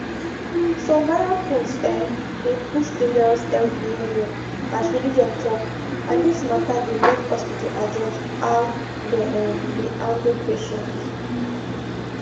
some viral post um dey push dangerous health behavior as religion talk and this mata dey make hospital adjust how dem um dey handle patients